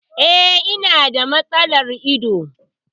E, ina da matsalar ido.